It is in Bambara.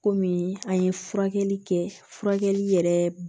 Komi an ye furakɛli kɛ furakɛli yɛrɛ